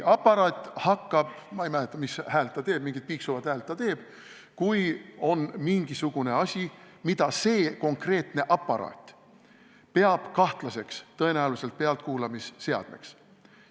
Ma ei mäleta, mis häält see aparaat teeb, mingit piiksuvat häält ta teeb, kui kusagil on mingisugune asi, mida see aparaat peab kahtlaseks, tõenäoliselt pealtkuulamisseadmeks.